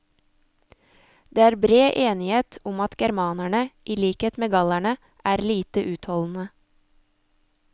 Det er bred enighet om at germanerne, i likhet med gallerne, er lite utholdende.